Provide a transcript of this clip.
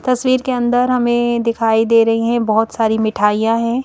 तस्वीर के अंदर हमें दिखाई दे रही है बहोत सारी मिठाइयां है।